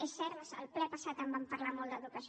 és cert al ple passat en vam parlar molt d’educació